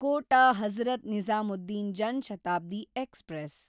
Kota Hazrat Nizamuddin Jan Shatabdi express